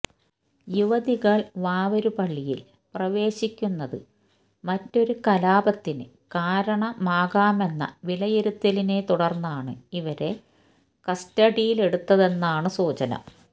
യുവതികള് വാവരുപള്ളിയില് പ്രവേശിക്കുന്നത് മറ്റൊരു കലാപത്തിന് കാരണമാകാമെന്ന വിലയിരുത്തലിനെ തുടര്ന്നാണ് ഇവരെ കസ്റ്റഡിയിലെടുത്തതെന്നാണ് സൂചന